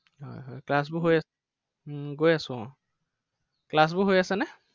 হয় হয় class বোৰ হৈআছে নে? উম গৈ আছো আহ class বোৰ হৈ আছেনে?